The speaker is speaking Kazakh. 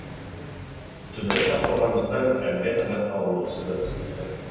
түбірі сақталғандықтан әмбе қазаққа онсыз да түсінікті